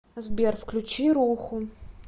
сбер включи руху